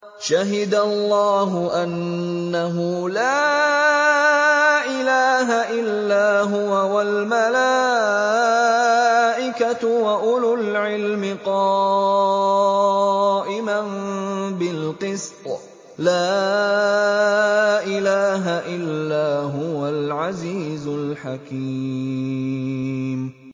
شَهِدَ اللَّهُ أَنَّهُ لَا إِلَٰهَ إِلَّا هُوَ وَالْمَلَائِكَةُ وَأُولُو الْعِلْمِ قَائِمًا بِالْقِسْطِ ۚ لَا إِلَٰهَ إِلَّا هُوَ الْعَزِيزُ الْحَكِيمُ